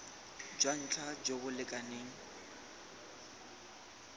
jwa ntlha jo bo lekaneng